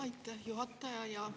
Aitäh, juhataja!